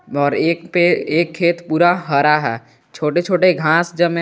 और एक पे एक खेत पूरा हरा है छोटे छोटे घास जमें हैं।